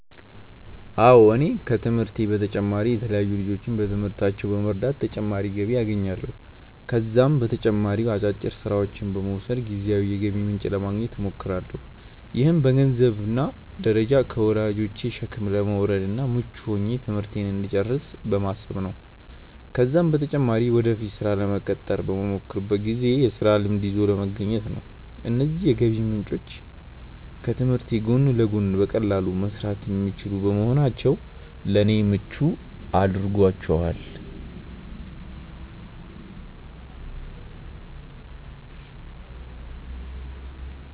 አዎ እኔ ከትምህርቴ በተጨማሪ የተለያዩ ልጆችን በትምህርታቸው በመርዳት ተጨማሪ ገቢ አገኛለሁ። ከዛም በተጨማሪ አጫጭር ስራዎችን በመውሰድ ጊዜያዊ የገቢ ምንጭ ለማግኘት እሞክራለሁ። ይህም በገንዘንብ ደረጃ ከወላጆቼ ሸክም ለመውረድ እና ምቹ ሆኜ ትምህርቴን እንድጨርስ በማሰብ ነው ነው። ከዛም በተጨማሪ ወደፊት ስራ ለመቀጠር በመሞክርበት ጊዜ የስራ ልምድ ይዞ ለመገኘት ነው። እነዚህ የገቢ ምንጮች ከትምህርት ጎን ለጎን በቀላሉ መሰራት የሚችሉ በመሆናቸው ለኔ ምቹ አድርጓቸዋል።